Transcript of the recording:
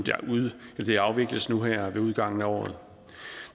afvikles nu her ved udgangen af året